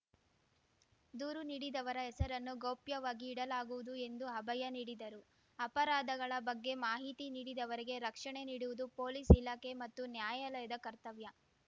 ದೂರು ನೀಡಿದವರ ಹೆಸರನ್ನು ಗೌಪ್ಯವಾಗಿ ಇಡಲಾಗುವುದು ಎಂದು ಅಭಯ ನೀಡಿದರು ಅಪರಾಧಗಳ ಬಗ್ಗೆ ಮಾಹಿತಿ ನೀಡಿದವರಿಗೆ ರಕ್ಷಣೆ ನೀಡುವುದು ಪೊಲೀಸ್‌ ಇಲಾಖೆ ಮತ್ತು ನ್ಯಾಯಾಲಯದ ಕರ್ತವ್ಯ